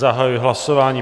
Zahajuji hlasování.